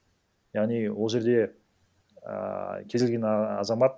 яғни ол жерде ііі кез келген і азамат